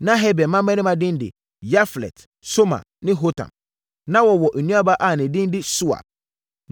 Na Heber mmammarima din de Yaflet, Somer ne Hotam. Na wɔwɔ nuabaa a ne din de Sua.